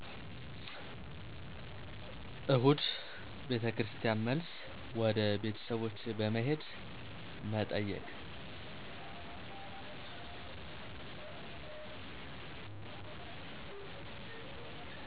እሁድ ቤተክርስቲያን መልስ፣ ወደ ቤተሰቦች በመሄድ መጠየቅ።